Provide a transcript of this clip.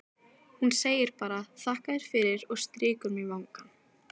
Hún segir bara: þakka þér fyrir, og strýkur mér vangann.